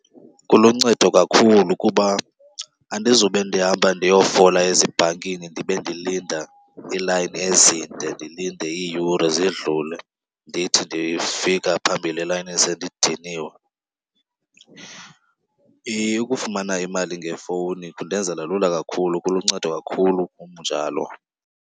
Kuluncedo kakhulu kuba andizube ndihamba ndiyofola ezibhankini ndibe ndilinda iilayini ezinde ndilinde iiyure zidlulile ndithi ndifika phambili elayinini sendidiniwe. Ukufumana imali ngefowuni kundenzela lula kakhulu, kuluncedo kakhulu kum njalo.